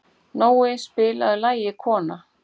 Nói, spilaðu lagið „Kona“.